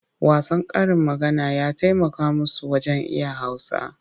Wasan karin maganar ya taimaka musu wajen iya Hausa.